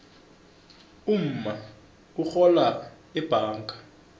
umma urhola ebhanga